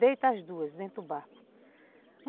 Deitem as duas dentro do barco.